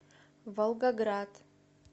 волгоград